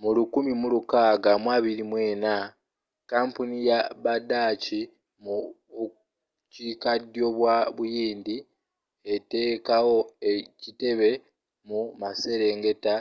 mu 1624 kampuni ya budaachi mu bukiikaddyo bwa buyindi eteekawo ekitebe mumaserengeta